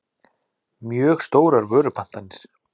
mjög stórar vörupantanir.